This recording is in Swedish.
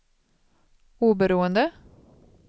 oberoende